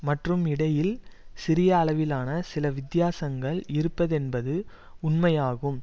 மற்றும் இடையில் சிறிய அளவிலான சில வித்தியாசங்கள் இருப்பதென்பது உண்மையாகும்